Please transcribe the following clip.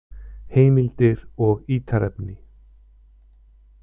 Heimildir og ítarefni: